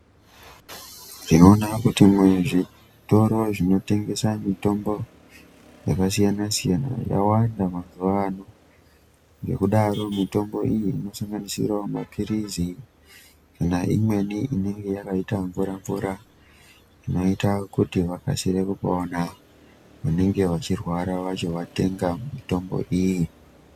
Tino ona kuti mu zvitoro zvino tengesa mitombo yaka siyana siyana yawanda mazuva ano nge kudaro mutombo iyi ino sanganisirawo mapirizi kana imweni inenge yakaita mvura mvura zvinoita kuti vakasire kupona vanenge va chirwara vacho vatenga mitombo iyi.